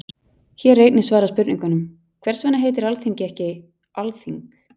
Hér er einnig svarað spurningunum: Hvers vegna heitir Alþingi ekki Alþing?